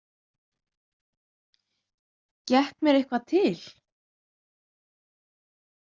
Gekk mér eitthvað til?